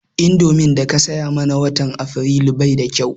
Indomin daka saya mana watan Afrilu bai da kau